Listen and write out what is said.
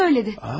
O söylədi.